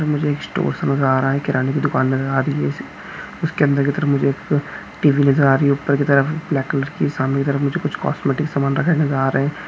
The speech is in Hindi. मुझे एक स्टोर्स सा नज़र आ रहा है किराने की दूकान नज़र आ रही है इस उसके अंदर की तरफ मुझे एक टीवी नज़र आ रही है ऊपर की तरफ ब्लैक कलर की सामने की तरफ मुझे कुछ कॉस्टमेटिक सामान रखे नज़र आ रहे है।